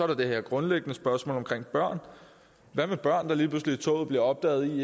der det her grundlæggende spørgsmål omkring børn hvad med børn der bliver opdaget